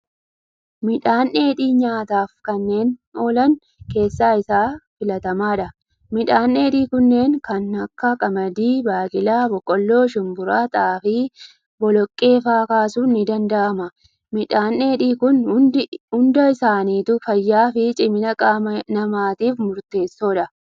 Midhaan dheedhii nyaataaf kanneen oolan keessaa isa filatamaadha. Midhaan dheedhii kunneen kan akka qamadii, baaqelaa, boqolloo, shumburaa, xaafii, boloqee fa'aa kaasuun ni danda'ama. Midhaan dheedhii Kun hundi isaaniitu fayyaa fi cimina qaama namatiif murteessoodha.